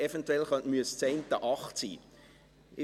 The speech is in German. Eventuell müsste das eine 8 sein.